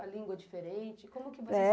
A língua diferente, como que você escreveu?